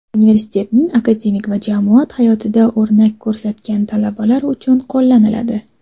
universitetning akademik va jamoat hayotida o‘rnak ko‘rsatgan talabalar uchun qo‘llaniladi.